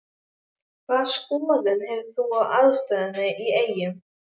Hvaða skoðun hefur þú á aðstöðunni í Eyjum?